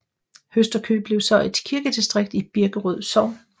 Høsterkøb blev så et kirkedistrikt i Birkerød Sogn